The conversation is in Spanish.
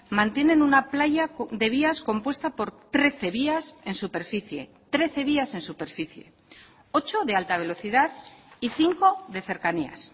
mantienen una playa de vías compuesta por trece vías en superficie trece vías en superficie ocho de alta velocidad y cinco de cercanías